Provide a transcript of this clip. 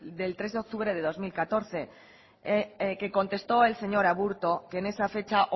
del tres de octubre de dos mil catorce que contestó el señor aburto que en esa fecha